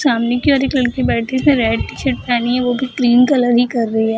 सामने की ओर एक लड़की बैठी है रेड टी-शर्ट पहनी है वो भी ग्रीन कलर ही कर रही है।